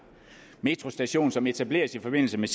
metrostation som etableres i forbindelse med